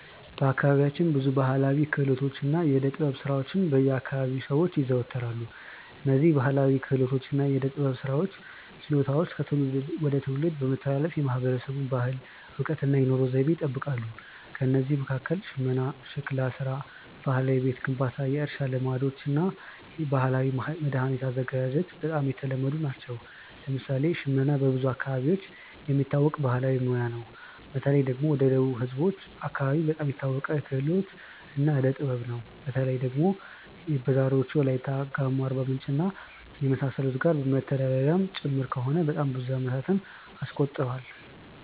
በአካባቢያችን ብዙ ባሕላዊ ክህሎቶችና የዕደ ጥበብ ሥራዎች በ አከባቢው ሰዎች ይዘወተራሉ። እነዝህ ባህላዊ ክህሎቶች እና የዕዴ ጥበብ ስራዎች ችሎታዎች ከትውልድ ወደ ትውልድ በመተላለፍ የማህበረሰቡን ባህል፣ እውቀት እና የኑሮ ዘይቤ ይጠብቃሉ። ከእነዚህ መካከል ሽመና፣ ሸክላ ሥራ፣ ባህላዊ የቤት ግንባታ፣ የእርሻ ልማዶች እና የባህላዊ መድኃኒት አዘገጃጀት በጣም የተለመዱ ናቸው። ለምሳሌ ሽመና በብዙ አካባቢዎች የሚታወቅ ባህላዊ ሙያ ነው። በተለይ ደግሞ ወደ ደቡብ ህዝቦች አከባቢ በጣም የታወቀ ክህሎት እና ዕዴ ጥበብ ነው። በተለይ ደግሞ በዛሬዎቹ ዎላይታ፣ ጋሞ፣ አርባምንጭ እና የመሳሰሉት ጋር መተዳደሪያም ጭምር ከሆነ በጣም ብዙ አመታትን አስቆጥሯል።